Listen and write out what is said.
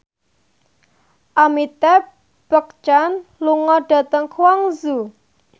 Amitabh Bachchan lunga dhateng Guangzhou